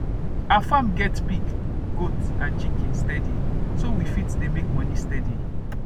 our farm get pig goat and chicken steady so that we fit dey make moni steady